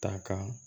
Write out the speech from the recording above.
Ta ka